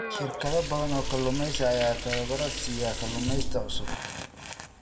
Shirkado badan oo kalluumaysi ayaa tababaro siiya kalluumaysato cusub.